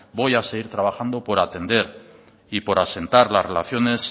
voy a seguir trabajando por atender y por asentar las relaciones